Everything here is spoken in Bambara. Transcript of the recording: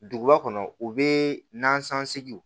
Duguba kɔnɔ u bɛ nansɔnsegiw